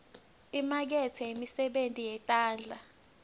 imakethe yemisebenti yetandla